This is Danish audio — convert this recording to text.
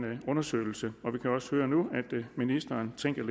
undersøgelse vi kan også høre nu at ministeren tænker